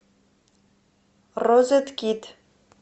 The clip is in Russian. розеткид